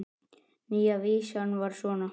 Nýja vísan var svona